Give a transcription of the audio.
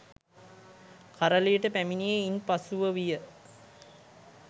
කරලියට පැමිණියේ ඉන් පසුව විය